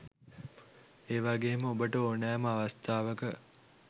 ඒවගේම ඔබට ඕනෑම අවස්ථාවක